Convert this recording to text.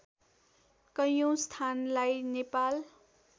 कैयौँ स्थानलाई नेपाल